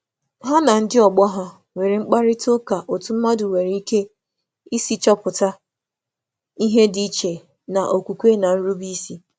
Ha na ndị ọgbọ ha nwere mkparịtaụka otu mmadụ nwere ike isi chọpụta ihe dị iche na okwukwe na nrube isi